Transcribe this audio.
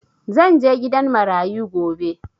Zan je gidan marayu gobe